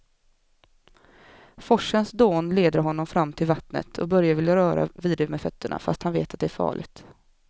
Forsens dån leder honom fram till vattnet och Börje vill röra vid det med fötterna, fast han vet att det är farligt.